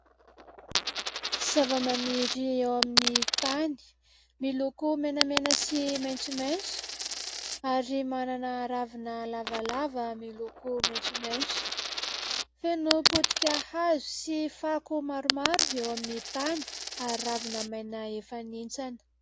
Zavamaniry eo amin'ny tany miloko menamena sy maitsomaitso ary manana ravina lavalava miloko maitsomaitso. Feno potika hazo sy fako maromaro eo amin'ny tany ary ravina maina efa nihintsana.